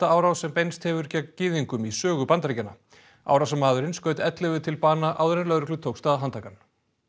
árás sem beinst hefur gegn gyðingum í sögu Bandaríkjanna árásarmaðurinn skaut ellefu til bana áður en lögreglu tókst að handsama hann